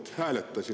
Väga hea!